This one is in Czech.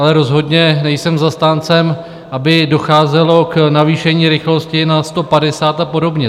Ale rozhodně nejsem zastáncem, aby docházelo k navýšení rychlosti na 150 a podobně.